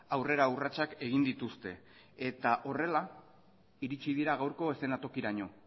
aurrera urratsak egin dituzte eta horrela iritsi dira gaurko eszenatokiraino